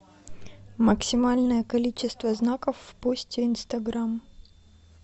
максимальное количество знаков в посте инстаграм